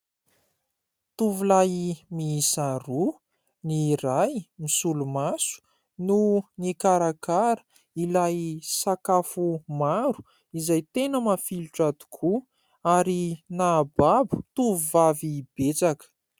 Tovolahy miisa roa ny iray misolomaso no nikarakara ilay sakafo maro izay tena mafilotra tokoa ary nahababo tovovavy betsaka.